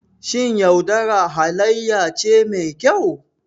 Shin yaudara halayya ce mai kyau?